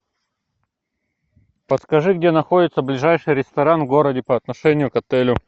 подскажи где находится ближайший ресторан в городе по отношению к отелю